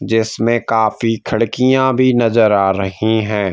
जिसमें काफी खिड़कियां भी नजर आ रही हैं।